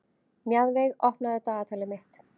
Mjaðveig, opnaðu dagatalið mitt.